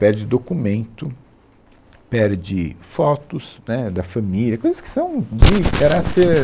Perde documento, perde fotos, né, da família, coisas que são de caráter...